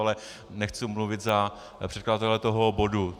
Ale nechci mluvit za předkladatele toho bodu.